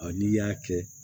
n'i y'a kɛ